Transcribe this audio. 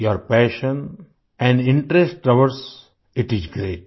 your passion and interest towards it is great